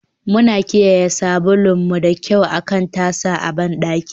Muna kiyaye sabulun mu da kyau akan tasa a bandaki.